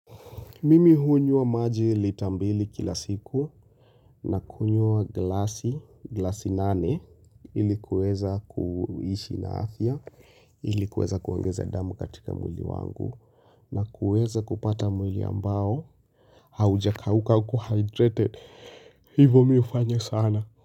Mimi hunywa maji lita mbili kila siku na kunywa glasi, glasi nane, ili kuweza kuishi na afya, ili kuweza kuongeza damu katika mwili wangu na kuweza kupata mwili ambao, haujakauka uko hydrated, hivo mimi hufanya sana.